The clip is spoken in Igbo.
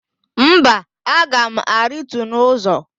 Mba, aga m arịtu n'ụzọ.